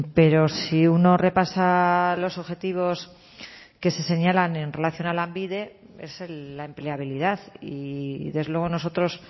pero si uno repasa los objetivos que se señalan en relación a lanbide es la empleabilidad y desde luego nosotros